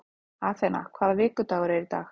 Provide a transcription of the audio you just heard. Athena, hvaða vikudagur er í dag?